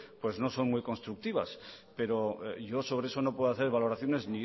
pues no son muy constructivas pero yo sobre eso no puedo hacer valoraciones